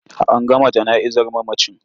An gama jana'izar mamacin.